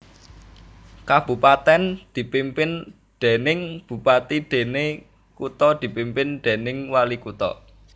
Kabupatèn dipimpin déning bupati déné kutha dipimpin déning walikutha